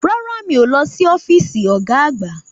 Rárá, mí ó lọ sí ọ́físì ọ̀gá àgbá